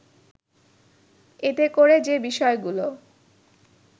এতে করে যে বিষয়গুলো